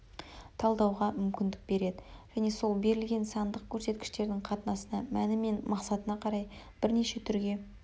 талдауға мүмкіндік береді және сол берілген сандық көрсеткіштердің қатынасына мәні мен мақсатына қарай бірнеше түрге